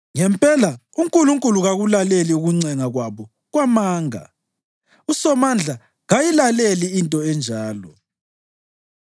Ngempela uNkulunkulu kakulaleli ukuncenga kwabo kwamanga; uSomandla kayilaleli into enjalo.